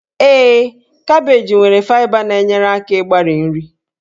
Ee, kabeeji nwere faịba na-enyere aka ịgbari nri